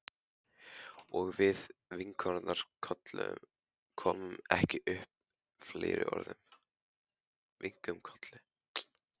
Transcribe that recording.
Og við kinkuðum kolli, komum ekki upp fleiri orðum.